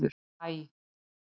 Æ